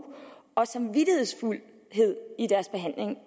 og samvittighedsfuldhed i deres behandling af